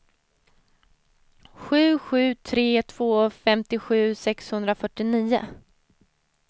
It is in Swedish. sju sju tre två femtiosju sexhundrafyrtionio